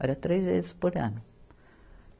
Era três vezes por ano.